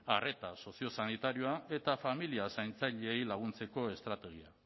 arreta sozio sanitarioa eta familia zaintzaileei laguntzeko estrategiak